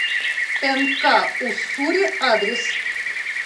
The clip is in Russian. нк уссури адрес